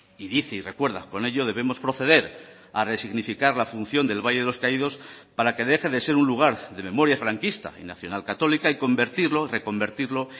y dice y recuerda con ello debemos proceder a resignificar la función del valle de los caídos para que deje de ser un lugar de memoria franquista y nacional católica y convertirlo reconvertirlo